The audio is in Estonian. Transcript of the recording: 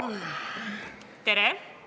Tere!